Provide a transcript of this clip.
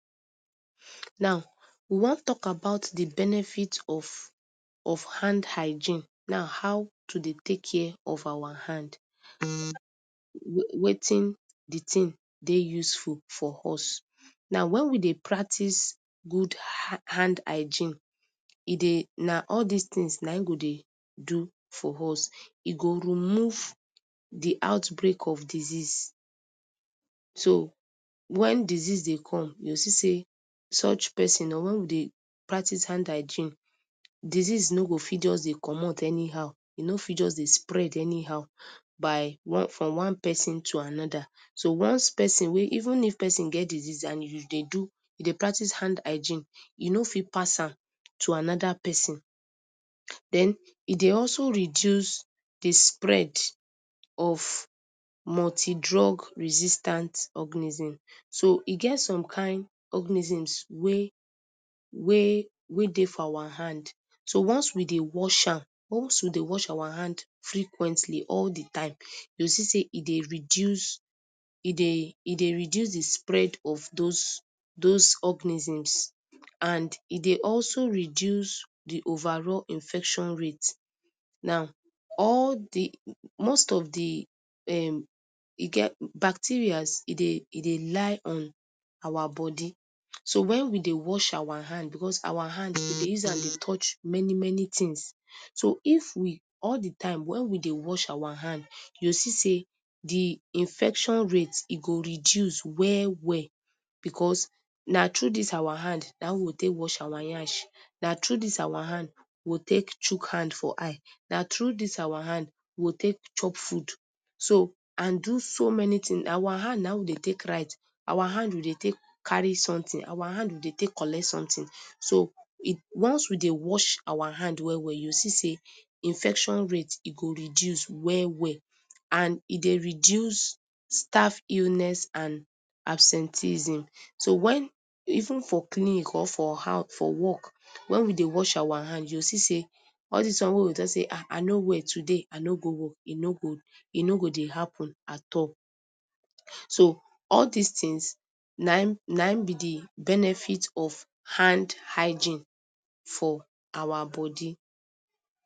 Now, we wan tok about di benefit of, of hand hygiene. Na how to dey take care of our hand wetin dey useful for us. Now when we dey practice good hand hygiene, e dey na all dis tins na im go dey do for us. E go remove di outbreak of disease. So when disease dey come you go see say such pesin or wen we dey practice hand hygiene, disease no go fit just dey comot anyhow e no fit just dey spread anyhow by from one pesin to anoda. So once pesin wey even if pesin get disease and you dey do you dey practice hand hygiene, you no fit pass am to anoda pesin. Den e dey also reduce di spread of multidrug resistant organism. So e get some kain organisms wey wey wey dey for awa hand so once we dey wash am once we dey wash awa hand frequently all di time you go see say e dey reduce e dey e dey reduce di spread of those those organisms. And e dey also reduce di overall infection rate. Now all di, most of di e getbacterias e dey e dey lie on awa bodi. So wen we dey wash awa hand becos awa hand we dey use am dey touch many many tins. So if we all di time wen we dey wash awa hand you go see say di infection rate e go reduce well well becos na true dis awa hand na im we go take wash awa nyash na true dis awa hand we go take chuck hand for eye na true dis awa hand we go take chop food. So and do so many tin awa hand na im we dey take write awa hand we dey take carry sometin awa hand we dey take collect some tin so once we deu wash awa hand well well you go see say infection rate e go reduce well well. And e dey reduce staff illness and absenteeism. So wen even for clinic or for how for work wen we dey wash awa hand you go see all dis one wey we talk say I I no well today I no go work e no go e no go dey happun at all. So all dis tins na im na im be di benefit of hand hygiene for awa bodi.